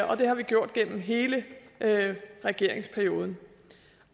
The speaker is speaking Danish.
og det har vi gjort gennem hele regeringsperioden